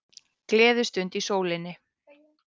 Gleðistund í sólinni